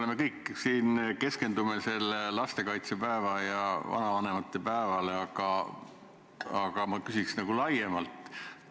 Me kõik siin keskendume lastekaitsepäevale ja vanavanemate päevale, aga ma küsiks laiemalt.